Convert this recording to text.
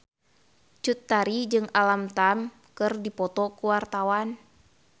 Cut Tari jeung Alam Tam keur dipoto ku wartawan